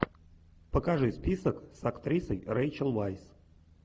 покажи список с актрисой рэйчел вайс